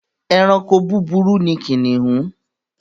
Ẹranko búburú ni kìnìún.